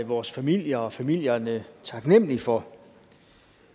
vores familie og familierne taknemmelige for